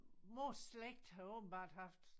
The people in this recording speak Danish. Mors slægt havde åbenbart haft